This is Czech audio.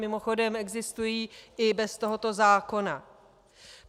Mimochodem, existují i bez tohoto zákona.